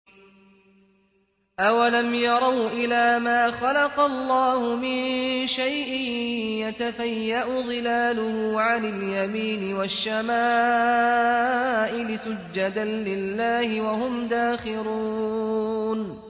أَوَلَمْ يَرَوْا إِلَىٰ مَا خَلَقَ اللَّهُ مِن شَيْءٍ يَتَفَيَّأُ ظِلَالُهُ عَنِ الْيَمِينِ وَالشَّمَائِلِ سُجَّدًا لِّلَّهِ وَهُمْ دَاخِرُونَ